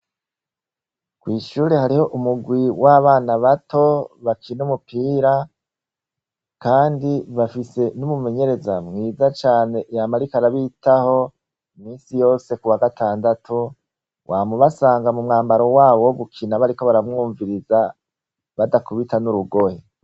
Kw'ishure hariho umurwi w'abana bato bakina umupira Kandi bafise n'umumenyereza mwiza caneyanariko arabitaho misi yose kuwa gatandatu, wamubasanga mu mwambaro wabo wo gukina bariko baramwumviriza badakubita n'urugohe.